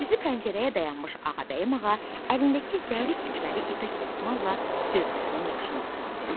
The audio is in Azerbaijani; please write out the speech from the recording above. Üzü pəncərəyə dayanmış Ağabəyim ağa əlindəki zərif tikməli ipək dəsmalla gözlərinin yaşını sildi.